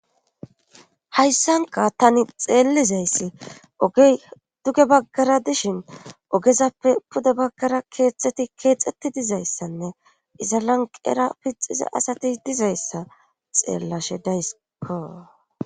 Hayssanka tani xeellizayssi oge duge baggara dishin ogezappe pude baggara keethteti keexetti dizayssanne iza lanqera pixize asati dizayssa xeellashe dayssiko.